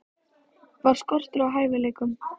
Var skortur á hæfileikum?